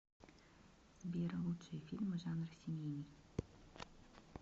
сбер лучшие фильмы жанра семейный